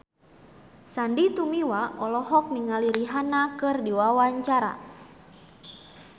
Sandy Tumiwa olohok ningali Rihanna keur diwawancara